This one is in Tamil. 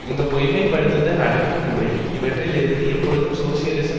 இந்த பொய்மைப்படுத்துதல் அடக்கு முறை இவற்றில் இருந்து எப்பொழுதும் சோசியலிசம்